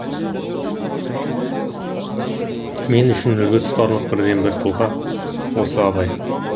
мен үшін үлгі тұтарлық бірден бір тұлға осы абай